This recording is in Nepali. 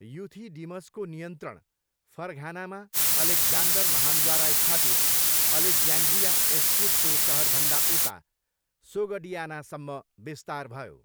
युथिडिमसको नियन्त्रण, फरघानामा अलेक्जान्डर महान्द्वारा स्थापित अलेक्ज्यान्ड्रिया एस्चिटको सहरभन्दा उता, सोगडियानासम्म विस्तार भयो।